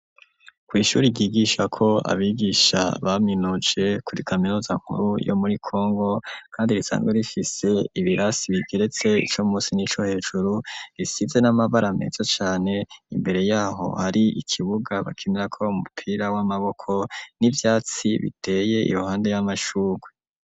Ku ishure ryigisha ko abigisha baminuje kuri kaminuza nkuru yo muri Congo kandi risanzwe rifise ibirasi bigeretse ico munsi nico hejuru risize n'amabara meza cane imbere yaho hari ikibuga bakinira ko umupira w'amaboko n'ivyatsi biteye iruhande y'amashugwe.